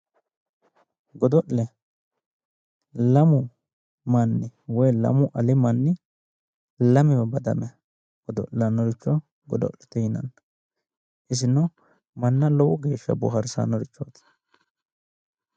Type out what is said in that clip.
Godo'le lamu manni woyi lamu ali manni lamewa badame godo'lannoricho godo'le yinanni. isino manna lowo geeshsha boohaarsanno yaate.